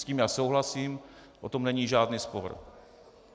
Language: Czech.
S tím já souhlasím, o tom není žádný spor.